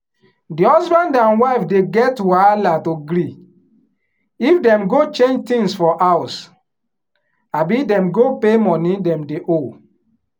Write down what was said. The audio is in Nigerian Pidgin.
di husband and wife dey get wahala to gree if dem go change tins for house abi dem go pay money dem dey owe.